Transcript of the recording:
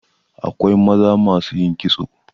Akwai maza masu yin kitso.